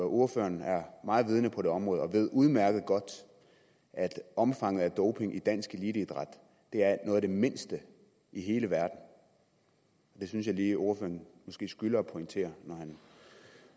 ordføreren er meget vidende på det område og ved udmærket godt at omfanget af doping i dansk eliteidræt er noget af det mindste i hele verden det synes jeg lige ordføreren skylder at pointere når han